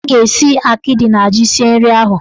Ha ga-esi akịdị na ji sie nri ahụ.